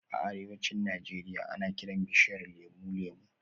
A arewacin Najeriya, ana kiran bishiyar lemu "Lemu"